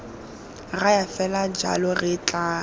raya fela jalo re tla